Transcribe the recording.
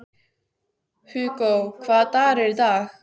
Hugó, hvaða dagur er í dag?